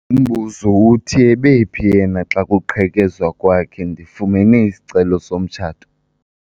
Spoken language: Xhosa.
Umbuzo uthi ebephi yena xa kuqhekezwa kwakhe? ndifumene isicelo somtshato